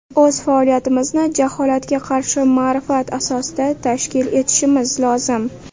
O‘z faoliyatimizni jaholatga qarshi ma’rifat asosida tashkil etishimiz lozim.